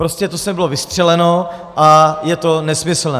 Prostě to sem bylo vystřeleno a je to nesmyslné.